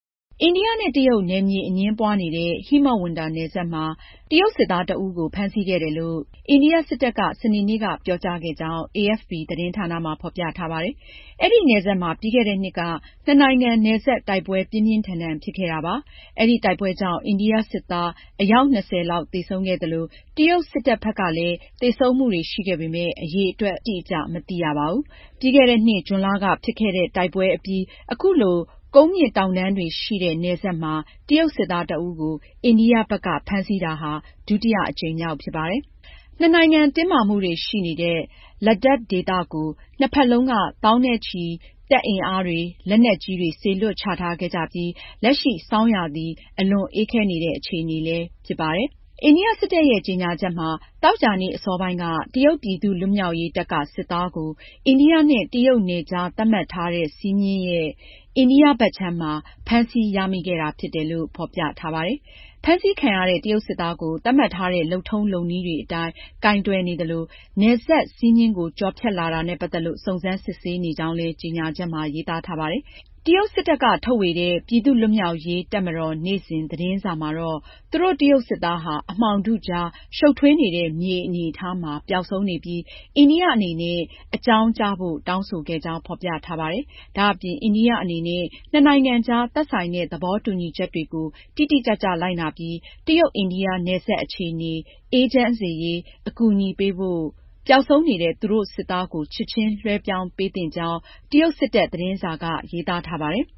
အိန္ဒိယနဲ့ တရုတ် နယ်မြေအငြင်းပွားနေတဲ့ ဟိမဝန္တာနယ်စပ်မှာ တရုတ်စစ်သားတဦးကို ဖမ်းဆီးခဲ့ကြောင်း အိန္ဒိယစစ်တပ်က စနေနေ့က ပြောကြားခဲ့ကြောင်း AFP သတင်းဌာနမှာ ဖော်ပြထားပါတယ်။ အဲဒီနယ်စပ်မှာ ပြီးခဲ့တဲ့နှစ်က နှစ်နိုင်ငံ နယ်စပ်တိုက်ပွဲ ပြင်းပြင်းထန်ထန် ဖြစ်ခဲ့တာပါ။ အဲဒီတိုက်ပွဲကြောင့် အိန္ဒိယစစ်သား အယောက် ၂၀ လောက် သေဆုံးခဲ့သလို တရုတ်စစ်တပ်ဘက်မှာလည်း သေဆုံးမှုတွေရှိပေမယ့် အရေအတွက် အတိအကျ မသိရပါဘူး။ ပြီးခဲ့တဲ့နှစ် ဇွန်လက ဖြစ်ခဲ့တဲ့ တိုက်ပွဲတွေအပြီး အခုလို ကုန်းမြင့်တောင်တန်းတွေရှိနေတဲ့ နယ်စပ်မှာ တရုတ်စစ်သားတဦးကို အိန္ဒိယဘက်က ဖမ်းဆီးတာဟာ ဒုတိယအကြိမ်မြောက် ဖြစ်ပါတယ်။ နှစ်နိုင်ငံ တင်းမာမှုတွေရှိနေတဲ့ Ladakh ဒေသကို နှစ်ဖက်လုံးက သောင်းနဲ့ချီပြီး တပ်အင်အားတွေ၊ လက်နက်ကြီးတွေ စေလွှတ်ချထားခဲ့ကြပြီး လက်ရှိ ဆောင်းရာသီ အလွန်အေးခဲနေတဲ့ အခြေအနေ ရှိနေပါတယ်။ အိန္ဒိယစစ်တပ်ရဲ့ ကြေညာချက်မှာ သောကြာနေ့ အစောပိုင်းက တရုတ်ပြည်သူ့လွတ်မြောက်ရေးတပ်က စစ်သားကို အိန္ဒိယနဲ့ တရုတ် နယ်ခြားသတ်မှတ်ထားတဲ့ စည်းမျဉ်း LAC ရဲ့ အိန္ဒိယဘက်ခြမ်းမှာ ဖမ်းဆီးရမိခဲ့တာဖြစ်တယ်လို့ ဖော်ပြထားပါတယ်။ ဖမ်းဆီးခံရတဲ့ တရုတ်စစ်သားကို သတ်မှတ်ထားတဲ့ လုပ်ထုံးလုပ်နည်းတွေအတိုင်း ကိုင်တွယ်နေသလို နယ်စပ်စည်းမျဉ်းကို ကျော်ဖြတ်လာတာနဲ့ ပတ်သက်လို့ စုံစမ်းစစ်ဆေးနေကြောင်းလည်း ကြေညာချက်မှာ ရေးသားထားပါတယ်။ တရုတ်စစ်တပ်က ထုတ်ဝေတဲ့ ပြည်သူ့လွတ်မြောက်ရေး တပ်မတော်နေ့စဉ် သတင်းစာမှာတော့ သူတို့ တရုတ်စစ်သားဟာ အမှောင်ထုကြား ရှုပ်ထွေးနေတဲ့ မြေအနေအထားမှာ ပျောက်ဆုံးနေပြီး အိန္ဒိယအနေနဲ့ အကြောင်းကြားဖို့ တောင်းဆိုခဲ့ကြောင်း ဖော်ပြထားပါတယ်။ ဒါ့အပြင် အိန္ဒိယအနေနဲ့ နှစ်နိုင်ငံကြား သက်ဆိုင်တဲ့ သဘောတူညီချက်တွေကို တိတိကျကျလိုက်နာပြီး တရုတ်-အိန္ဒိယ နယ်စပ်အခြေအနေ အေးချမ်းစေရေး အကူအညီပေးဖို့ ပျောက်ဆုံးနေတဲ့ သူတို့စစ်သားကို ချက်ချင်းလွဲှပြောင်းပေးသင့်ကြောင်း တရုတ်စစ်တပ် သတင်းစာက ရေးထားပါတယ်။